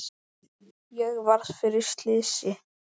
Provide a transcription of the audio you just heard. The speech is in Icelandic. Ég varð fyrir slysi